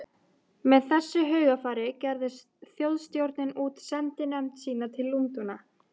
Með þessu hugarfari gerði Þjóðstjórnin út sendinefnd sína til Lundúna.